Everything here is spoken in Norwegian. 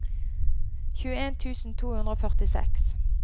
tjueen tusen to hundre og førtiseks